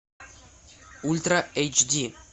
ультра эйч ди